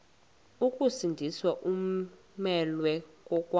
ukusindiswa umelwe kokwazi